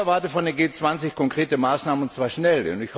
Ich erwarte von der G20 konkrete Maßnahmen, und zwar schnell.